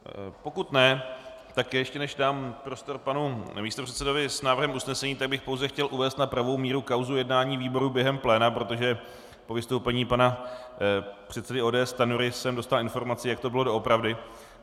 Pokud ne, tak ještě než dám prostor panu místopředsedovi s návrhem usnesení, tak bych pouze chtěl uvést na pravou míru kauzu jednání výboru během pléna, protože po vystoupení pana předsedy ODS Stanjury jsem dostal informaci, jak to bylo doopravdy.